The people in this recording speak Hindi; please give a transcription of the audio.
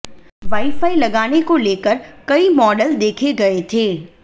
वाई फाई लगाने को लेकर कई मॉडल देखे गए थे